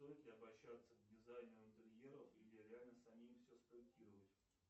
стоит ли обращаться к дизайнеру интерьеров или реально самим все спроектировать